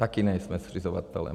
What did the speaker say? Taky nejsme zřizovatelem.